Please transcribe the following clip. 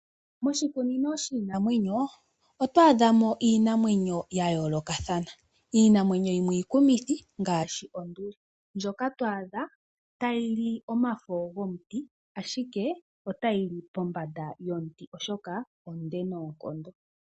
Moshikunino shiinamwenyo oto a dhamo iinamwenyo ya yoolokathana. Iinamwenyo yimwe iikumithi ngaashi Onduli ndjoka to adha ta yili omafo gomutu ashike ota yili pombanda yomuti oshoka onde noonkondo.